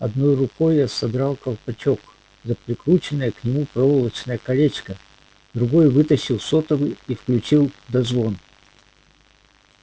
одной рукой я содрал колпачок за прикрученное к нему проволочное колечко другой вытащил сотовый и включил дозвон